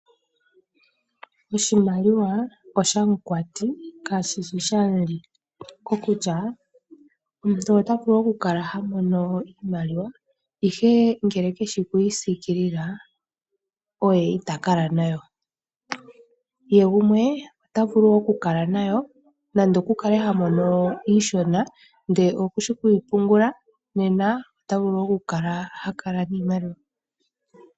Oshimaliwa oshamukwati kashishi shamu li, kokutya omuntu ota vulu oku kala ha mono iimaliwa ashike ngele keshi oku yi siikilila oye ita kala nayo ye gumwe ota vulu oku kala nayo nande oku kale ha mono iishono ndele okushi oku yi pungula nena oku kala ha kala niimaliwa.